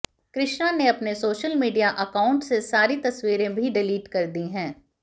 कृष्णा ने अपने social media account से सारी तस्वीरें भी डिलीट कर दी हैं